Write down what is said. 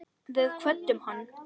Við kvöddum hann.